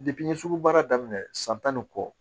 n ye sugu baara daminɛ san tan ni kɔ